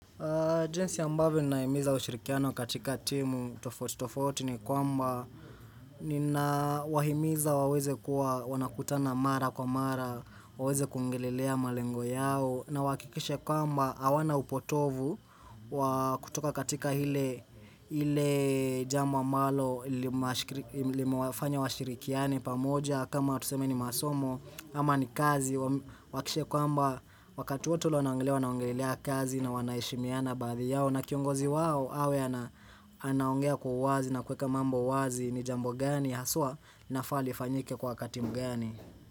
Jinsi ambavyo naimiza ushirikiano katika timu tofauti tofauti ni kwamba Nina wahimiza waweze kuwa wanakutana mara kwa mara waweze kuongelelea malengo yao na wahakikishe kwamba hawana upotovu Wakutoka katika ile jambo ambalo limewafanya washirikiane pamoja kama tuseme ni masomo ama ni kazi Wahakikishe kwamba wakati wote ule wanaongelea wanaongelelea kazi na wanaheshimiana baadhi yao na kiongozi wao awe ana anaongea kwa uwazi na kuweka mambo wazi ni jambo gani haswa linafaa lifanyike kwa wakati gani.